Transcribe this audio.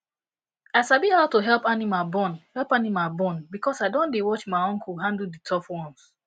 i sabi how to help animal born help animal born because i don dey watch my uncle handle the tough ones